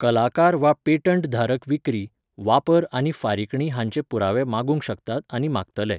कलाकार वा पेटंट धारक विक्री, वापर आनी फारीकणी हांचे पुरावे मागूंक शकतात आनी मागतले.